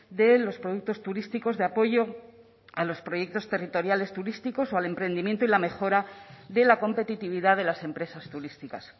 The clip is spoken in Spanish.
de los productos turísticos de apoyo a los proyectos territoriales turísticos o al emprendimiento y la mejora de la competitividad de las empresas turísticas